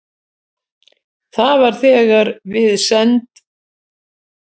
Það var þegar við send